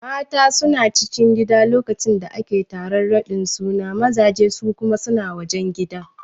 Mata suna cikin gida lokacin da ake taron raɗin suna mazaje su kuma suna wajen gida